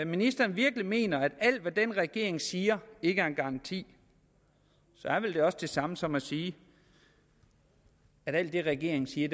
ministeren virkelig mener at alt hvad den regering siger ikke er en garanti så er det vel også det samme som at sige at alt det regeringen siger